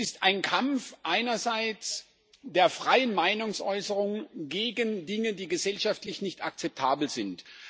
Es ist ein Kampf einerseits der freien Meinungsäußerung gegen Dinge die gesellschaftlich nicht akzeptabel sind.